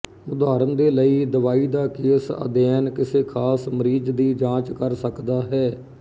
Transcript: ਉਦਾਹਰਣ ਦੇ ਲਈ ਦਵਾਈ ਦਾ ਕੇਸ ਅਧਿਐਨ ਕਿਸੇ ਖਾਸ ਮਰੀਜ਼ ਦੀ ਜਾਂਚ ਕਰ ਸਕਦਾ ਹੈ